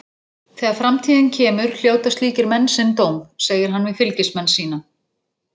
Þegar framtíðin kemur hljóta slíkir menn sinn dóm, segir hann við fylgismenn sína.